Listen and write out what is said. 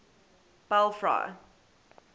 belfry